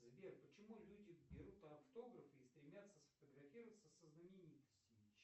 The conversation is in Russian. сбер почему люди берут автографы и стремятся сфотографироваться со знаменитостями